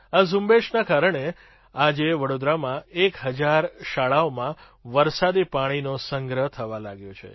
આ ઝુંબેશના કારણે આજે વડોદરામાં એક હજાર શાળાઓમાં વરસાદી પાણીનો સંગ્રહ થવા લાગ્યો છે